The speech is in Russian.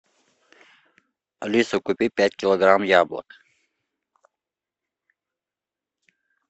алиса купи пять килограмм яблок